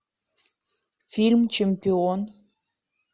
фильм чемпион